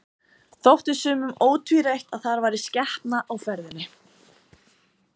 Þótti sumum ótvírætt að þar væri skepnan á ferðinni.